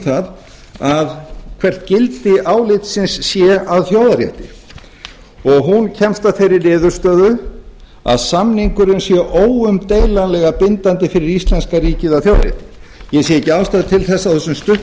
það hvert gildi álitsins sé að þjóðarrétti og hún kemst að þeirri niðurstöðu að samningurinn sé óumdeilanlega bindandi fyrir íslenska ríkið að fjár ég sé ekki ástæðu til þess á þessum stutta tíma sem ég